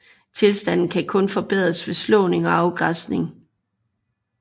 Tilstanden kan kun forbedres ved slåning og afgræsning